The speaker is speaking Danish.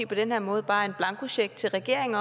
på den her måde bare en blankocheck til regeringen